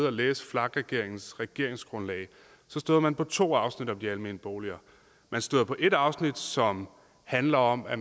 og læse vlak regeringens regeringsgrundlag støder man på to afsnit om de almene boliger man støder på et afsnit som handler om at